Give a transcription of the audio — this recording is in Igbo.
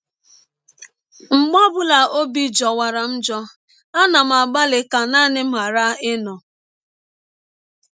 “ Ọbi na - ajọkarị m njọ mgbe ọ bụla m chewere naanị banyere ọnwe m.